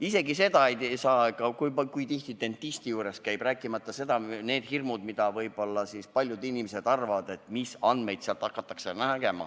Isegi seda ei saa nad teada, kui tihti inimene dentisti juures käib, rääkimata hirmudest nende andmetega seoses, mida võib-olla paljud inimesed arvavad, et sealt nägema hakatakse.